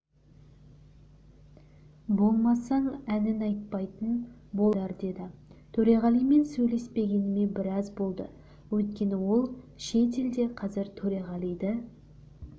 болмасаң әнін айтпайтын болдыңдар деді төреғалимен сөйлеспегеніме біраз болды өйткені ол шет елде қазір төреғалиды